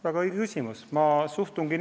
Väga õige küsimus!